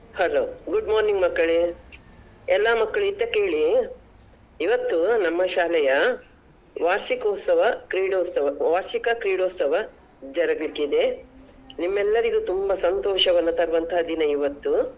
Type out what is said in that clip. Hello good morning ಮಕ್ಕಳೇ ಎಲ್ಲ ಮಕ್ಕಳು ಇತ್ತ ಕೇಳಿ ಇವತ್ತು ನಮ್ಮ ಶಾಲೆಯ ವಾರ್ಷಿಕೋತ್ಸವ ಕ್ರೀಡೋತ್ಸವ ವಾರ್ಷಿಕ ಕ್ರೀಡೋತ್ಸವ ಜರಗ್ಲಿಕಿದೆ ನಿಮ್ಮೆಲ್ಲರಿಗೂ ತುಂಬ ಸಂತೋಷವನ್ನ ತರುವಂತ ದಿನ ಇವತ್ತು.